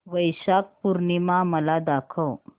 वैशाख पूर्णिमा मला दाखव